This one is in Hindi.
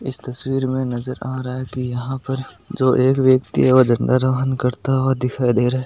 इस तस्वीर में नजर आ रहा है कि यहां पर जो एक व्यक्ति है वह झंडा रोहण करता हुआ दिखाई दे रहा है।